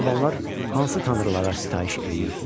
Albanlar hansı tanrılara sitayiş edirdilər?